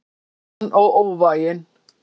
Harðan og óvæginn.